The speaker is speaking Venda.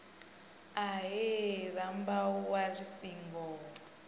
ahee rambau wa ri singo